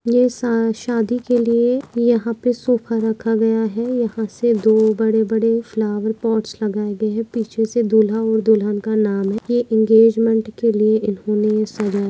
ये स शादी के लिए यहा पे सोफा रखा गया है यहा से दो बड़े बड़े फ्लावर पोट्स लगाए गए है पिछेसे दूल्हा और दुल्हन का नाम के इंगेजमेंट के लिए इन्होने सजाया --